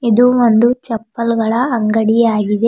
ಇದು ಒಂದು ಚಪ್ಪಲ್ ಗಳ ಅಂಗಡಿಯಾಗಿದೆ.